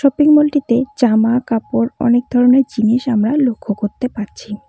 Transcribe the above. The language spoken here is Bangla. শপিং মল -টিতে জামা কাপড় অনেক ধরনের জিনিস আমরা লক্ষ করতে পারছি।